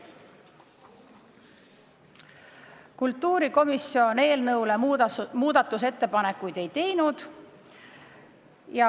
Kultuurikomisjon muudatusettepanekuid ei teinud.